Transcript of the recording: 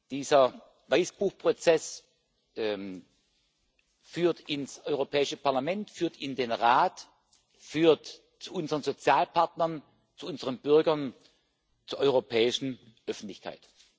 Dieser Weißbuch Prozess führt ins Europäische Parlament, führt in den Rat, führt zu unseren Sozialpartnern, zu unseren Bürgern, zur europäischen Öffentlichkeit.